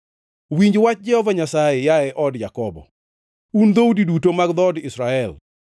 Winj wach Jehova Nyasaye, yaye od Jakobo, un dhoudi duto mag dhood Israel.